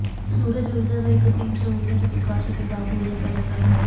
ਸੂਰਜ ਊਰਜਾ ਦਾ ਇੱਕ ਅਸੀਮ ਸਰੋਤ ਹੈ ਜੋ ਪ੍ਰਕਾਸ਼ ਅਤੇ ਤਾਪ ਊਰਜਾ ਪੈਦਾ ਕਰਦਾ ਹੈ